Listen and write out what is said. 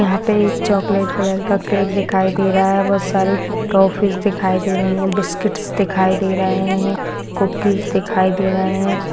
यहाँ पे एक चॉक्लेट कलर का केक दिखाई दे रहा है बहुत सारे टॉफीज दिखाई दे रही है बिस्किटस दिखाई दे रहे है कूकीज दिखाई दे रहे है।